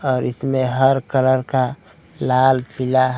और इसमें हर कलर का लाल पीला--